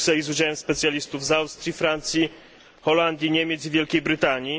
w Brukseli z udziałem specjalistów z Austrii, Francji, Holandii, Niemiec i Wielkiej Brytanii.